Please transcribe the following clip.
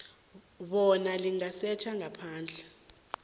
bona lingasetjha ngaphandle